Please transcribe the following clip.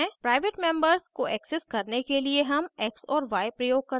private members को access करने के लिए हम x और y प्रयोग करते हैं